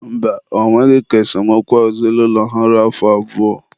mba, ọ nweghị ka esemokwu ezinaụlọ ha ruo afọ abụọ.